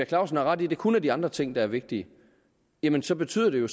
clausen har ret i at det kun er de andre ting der er vigtige jamen så betyder det jo